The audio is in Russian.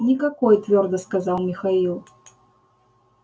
никакой твёрдо сказал михаил